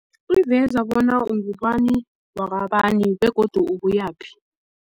Iveza bona ungubani wakwabani begodu ubuyaphi.